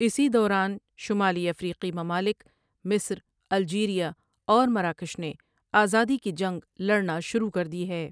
اسی دوران ، شمالی افریقی ممالک مصر ، الجیریا اور مراکش نے آزادی کی جنگ لڑنا شروع کردی ہے ۔